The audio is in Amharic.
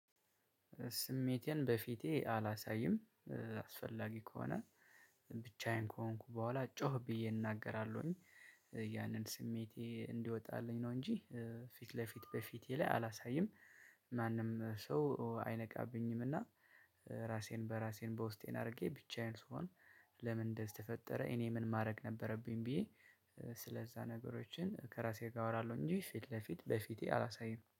ስሜቴን በፊቴ አላሳይም አስፈላጊ ከሆነ ብቻዬን ከሆንኩ በኋላ ጮክ ብዬ እናገራለሁኝ። ያንን ስሜቴ እንዲወጣልኝ ነው እንጂ ፊት ለፊት በፊቴ ላይ አላሳይም። ማንም ሰው አይነቃብኝም እና ራሴን በራሴን በውስጤን አድርጌ ብቻዬን ስሆን። ለምን እንደዚህ ተፈጠረ እኔ ምን ማድረግ ነበረብኝ ብዬ? ስለዛ ነገሮችን ከራሴ ጋር አወራለሁ እንጂ ፊት ለፊት በፊቴ አላሳይም